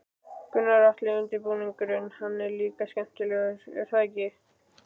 Gunnar Atli: Undirbúningurinn, hann er líka skemmtilegur er það ekki?